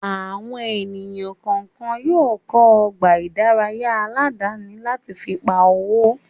Àwọn ènìyàn kọ̀ọ̀kan yóò kọ́ ọgbà ìdárayá aládàáni láti pa owó